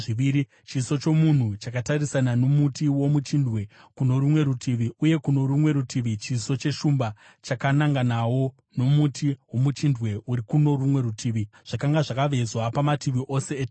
chiso chomunhu chakatarisana nomuti womuchindwe kuno rumwe rutivi uye kuno rumwe rutivi chiso cheshumba chakananganawo nomuti womuchindwe uri kuno rumwe rutivi. Zvakanga zvakavezwa pamativi ose etemberi.